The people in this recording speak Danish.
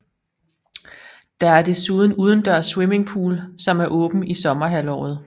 Der er desuden udendørs swimmingpool som er åben i sommerhalvåret